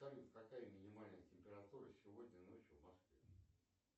салют какая минимальная температура сегодня ночью в москве